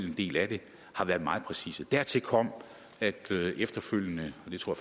en del af det har været meget præcise dertil kom at det her efterfølgende og det tror